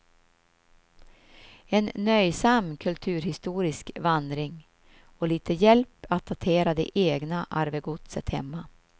En nöjsam kulturhistorisk vandring och lite hjälp att datera det egna arvegodset hemma.